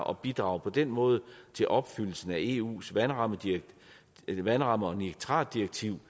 og bidrager på den måde til opfyldelsen af eus vandramme vandramme og nitratdirektiv